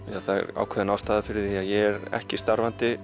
það er ákveðin ástæða fyrir að ég er ekki starfandi